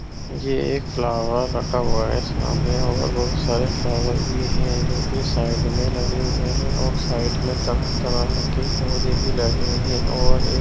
ये एक फ्लावर रखा हुआ है सामने और बहुत सारे फ्लावर भी है जो कि साइड मे लगे हुए है और साइड मे तरह-तरह के पौधे भी लगे है और एक --